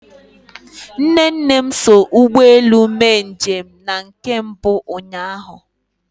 Nne nne m so ụgbọ elu mee njem na nke mbụ ụnyahụ.